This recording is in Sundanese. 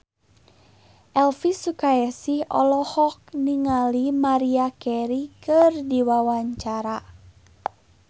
Elvy Sukaesih olohok ningali Maria Carey keur diwawancara